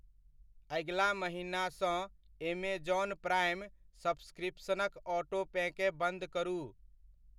अगिला महिनासँ Amazon prime सब्सक्रिपसनक ऑटोपेकेँ बन्द करू।